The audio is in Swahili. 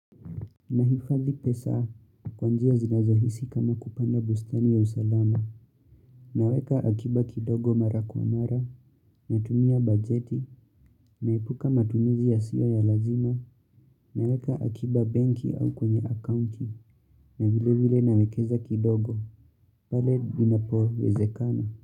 Nahifadhi pesa kwa njia zinazohisi kama kupanda bustani ya usalama, naweka akiba kidogo mara kwa mara, natumia bajeti, naipuka matumizi yasio ya lazima, naweka akiba banki au kwenye accounti, na vile vile nawekeza kidogo, pale inapowezekana.